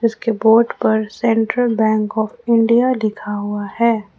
उसके बोर्ड पर Central Bank of India लिखा हुआ है।